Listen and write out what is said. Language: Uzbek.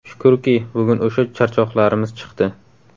Shukurki, bugun o‘sha charchoqlarimiz chiqdi.